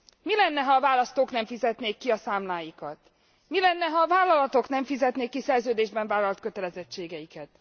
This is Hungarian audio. Mi lenne, ha a választók nem fizetnék ki a számláikat? Mi lenne, ha a vállalatok nem fizetnék ki szerződésben vállalt kötelezettségeiket?